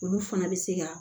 Olu fana bɛ se ka